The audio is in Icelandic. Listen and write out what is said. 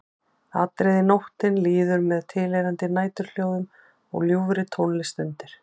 Atriði Nóttin líður með tilheyrandi næturhljóðum og ljúfri tónlist undir.